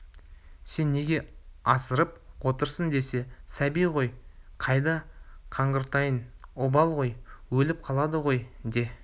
сен неге асырап отырсын десе сәби ғой қайда қаңғыртайын обал ғой өліп қалады ғой де